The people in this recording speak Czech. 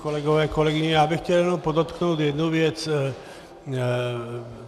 Kolegové, kolegyně, já bych chtěl jenom podotknout jednu věc.